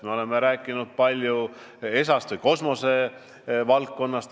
Me oleme rääkinud palju ESA-st ja kosmosevaldkonnast.